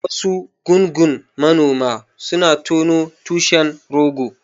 Wasu gungun manoma suna tono tushen rogo.